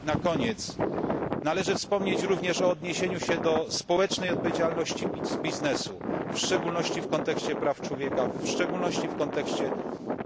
Na koniec należy wspomnieć również o odniesieniu się do społecznej odpowiedzialności biznesu, w szczególności w kontekście praw człowieka, zwłaszcza w kontekście